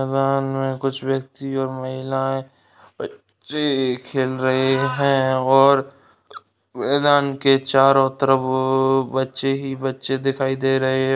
हमें कुछ व्यक्ति और महिलाये बच्ची खेल रही है और मैदान के चारो तरफ बच्चे ही बच्चे दिखाई दे रहे --